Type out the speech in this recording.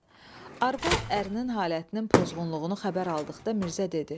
Arvad ərinin halətinin pozğunluğunu xəbər aldıqda Mirzə dedi: